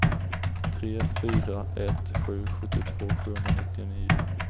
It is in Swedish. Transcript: tre fyra ett sju sjuttiotvå sjuhundranittionio